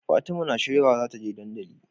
Fatima na shirya wa zata je dandali